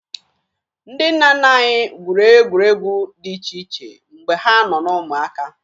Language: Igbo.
Ndị nna nna anyị gwuru egwuregwu dị iche iche mgbe ha nọ na ụmụaka